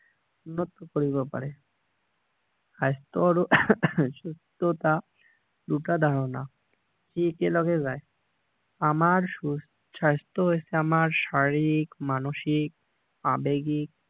উন্নত কৰিব পাৰে স্বাস্থ্যৰ আৰু সুস্থতা দুটা ধাৰণা এই একে লগে যায় আমাৰ স্বাস্থ্য হৈছে আমাৰ শাৰীৰিক মানসিক আবেগিক